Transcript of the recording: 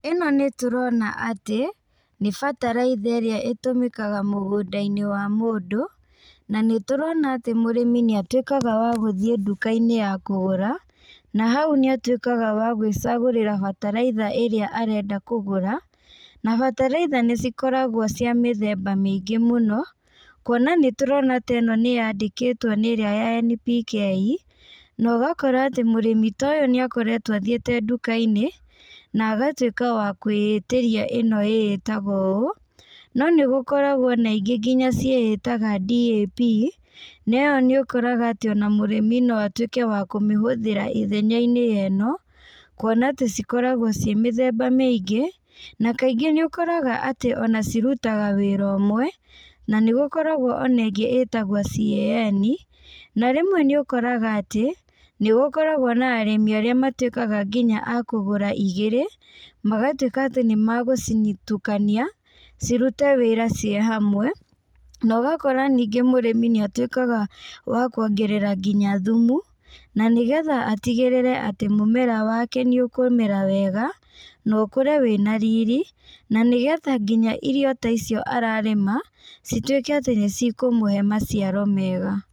Ĩno nĩtũrona atĩ, nĩ bataraitha ĩrĩa ĩtũmĩkaga mũgũndainĩ wa mũndũ, na nĩtũrona atĩ mũrĩmi nĩatuĩkaga wa gũthiĩ ndukainĩ ya kũgũra, na hau nĩatuĩkaga wa gwĩcagũrĩra bataraitha ĩrĩa arenda kũgũra, na bataraitha nĩcikoragwo cia mĩthemba mĩingĩ mũno, kuona nĩtũrona atĩ ĩno nĩyandĩkĩtwo nĩ ĩrĩa ya NPK, na ũgakora atĩ mũrĩmi ta ũyũ nĩakoretwo athiĩte ndukainĩ, na agatuĩka wa kwĩtĩria ĩno ĩtagwo ũũ, no nĩgũkoragwo na ingĩ nginya ciĩtaga DAP, na ĩyo nĩũkoraga atĩ ona mũrĩmi no atuĩke wa kũmĩhũthĩra ithenyainĩ rĩa ĩno, kuona atĩ cikoragwo ciĩ mĩthemba mĩingĩ, na kaingĩ nĩũkoraga atĩ ona cirutaga wĩra ũmwe, na nĩgũkoragwo ona ĩngĩ ĩtagwo CAN, na rĩmwe nĩũkoraga atĩ, nĩgũkoragwo na arĩmi arĩa matuĩkaga nginya a kũgũra igĩrĩ, magatuĩka atĩ nĩmagũcitukania, cirute wĩra ciĩ hamwe, na ũgakora ningĩ mũrĩmi nĩatuĩkaga wa kwongerera nginya thumu, na nĩgetha atigĩrĩre atĩ mũmera wake nĩũkũmera wega, na ũkũre wĩna riri, na nĩgetha nginya irio ta icio ararĩma, cituĩke atĩ nĩcikũmũhe maciaro mega.